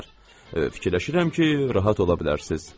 Fikirləşirəm ki, rahat ola bilərsiz.